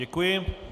Děkuji.